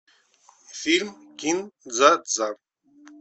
фильм кин дза дза